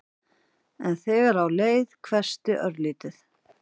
En þegar á leið hvessti örlítið.